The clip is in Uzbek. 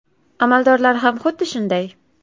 Amaldorlar ham xuddi shunday.